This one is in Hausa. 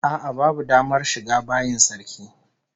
A'a babu damar shiga bayin sarki